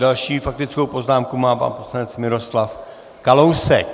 Další faktickou poznámku má pan poslanec Miroslav Kalousek.